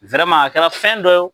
kɛra fɛn dɔ